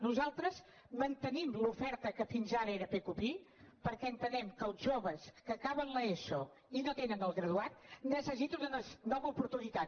nosaltres mantenim l’oferta que fins ara era pqpi perquè entenem que els joves que acaben l’eso i no tenen el graduat necessiten una nova oportunitat